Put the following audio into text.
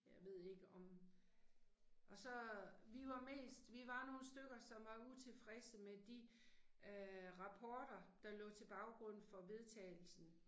Jeg ved ikke om. Og så, vi var mest, vi var nogle stykker som var utilfredse med de øh rapporter der lå til baggrund for vedtagelsen